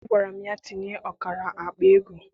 Agwara m ya tinye ọkara akpa ego!